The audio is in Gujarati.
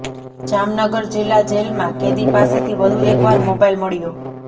જામનગર જીલ્લા જેલમાં કેદી પાસેથી વધુ એકવાર મોબાઈલ મળ્યો